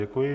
Děkuji.